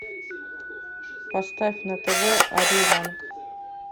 поставь на тв ариранг